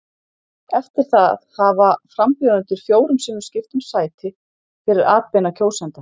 Eftir það hafa frambjóðendur fjórum sinnum skipt um sæti fyrir atbeina kjósenda.